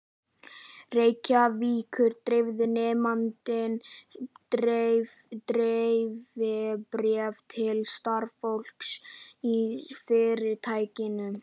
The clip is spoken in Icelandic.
Reykjavíkur, dreifði nemandinn dreifibréfi til starfsfólks í fyrirtækinu.